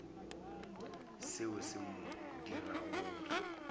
seo se mo dirago gore